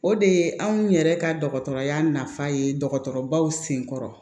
O de ye anw yɛrɛ ka dɔgɔtɔrɔya nafa ye dɔgɔtɔrɔbaw senkɔrɔ